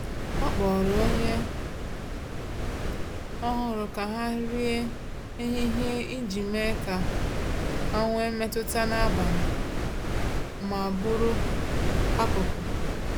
Ọ kpọrọ onye ọhụrụ ka ha rie nri ehihie iji mee ka ha nwee mmetụta nnabata ma bụrụ akụkụ.